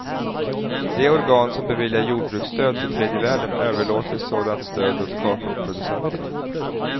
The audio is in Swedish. De organ som beviljar jordbruksstöd till tredje världen överlåter sådant stöd åt kakaoproducenterna.